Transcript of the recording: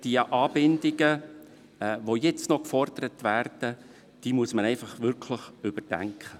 Die Anbindungen, die jetzt noch gefordert werden, muss man wirklich überdenken.